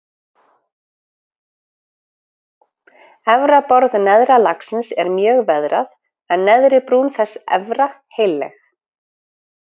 Efra borð neðra lagsins er mjög veðrað en neðri brún þess efra heilleg.